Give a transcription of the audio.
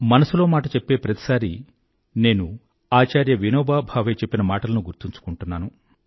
మనసులో మాట చెప్పే ప్రతిసారీ నేను ఆచార్య వినోభా భావే చెప్పిన మాటలను గుర్తుంచుకున్నాను